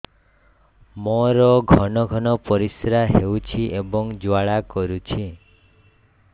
ମୋର ଘନ ଘନ ପରିଶ୍ରା ହେଉଛି ଏବଂ ଜ୍ୱାଳା କରୁଛି